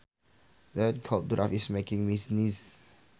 That cold draft is making me sneeze